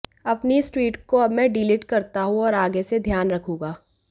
अपनी इस ट्वीट को अब मैं डिलीट करता हूँ और आगे से ध्यान रखूँगा